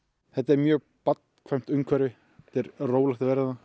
þetta er mjög barnvænt umhverfi mjög rólegt